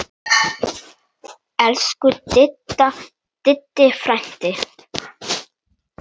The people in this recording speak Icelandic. Elsku Diddi frændi.